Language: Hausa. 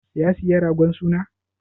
Ya saya ragon suna?